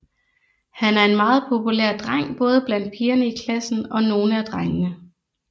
Han er en meget populær dreng både blandt pigerne i klassen og nogle af drengene